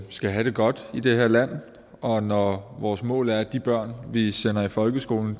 skal have det godt i det her land og når vores mål er at de børn vi sender i folkeskolen